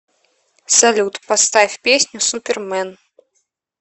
салют поставь песню супермэн